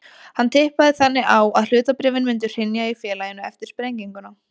Hann tippaði þannig á að hlutabréfin myndu hrynja í félaginu eftir sprenginguna.